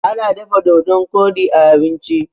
ana dafa dodon Kodi a abinci